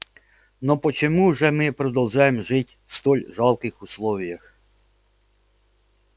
но почему же мы продолжаем жить в столь жалких условиях